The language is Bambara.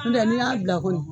N'u tɛ n'i y'a bila ko ɲuma